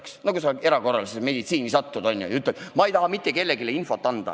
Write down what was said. Näiteks siis, kui sa satud erakorralise meditsiini osakonda ja ütled, et ei taha mitte kellelegi infot anda.